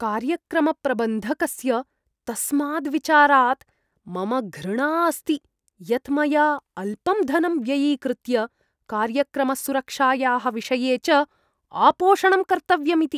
कार्यक्रमप्रबन्धकस्य तस्माद् विचारात् मम घृणा अस्ति यत् मया अल्पं धनं व्ययीकृत्य कार्यक्रमसुरक्षायाः विषये च आपोषणं कर्तव्यम् इति।